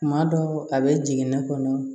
Kuma dɔw a bɛ jigin ne kɔnɔ